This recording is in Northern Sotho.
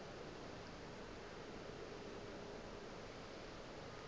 ge a be a sa